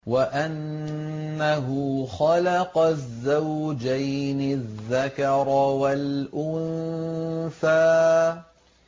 وَأَنَّهُ خَلَقَ الزَّوْجَيْنِ الذَّكَرَ وَالْأُنثَىٰ